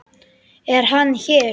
Er hann hér?